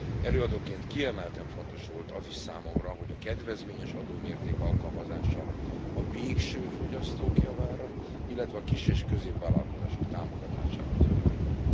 Előadóként kiemelten fontos volt az is számomra, hogy a kedvezményes adómérték alkalmazása a végső fogyasztók javára, illetve a kis és középvállalkozások támogatására történjen.